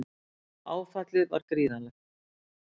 Áfallið var gífurlegt.